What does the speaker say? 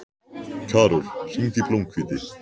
Karol, hringdu í Blómhvíti.